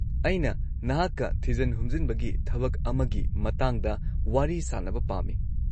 -ꯑꯩꯅ ꯅꯍꯥꯛꯀ ꯊꯤꯖꯤꯟ-ꯍꯨꯝꯖꯤꯟꯕꯒꯤ ꯊꯕꯛ ꯑꯃꯒꯤ ꯃꯇꯥꯡꯗ ꯋꯥꯔꯤ ꯁꯥꯅꯕ ꯄꯥꯝꯃꯤ꯫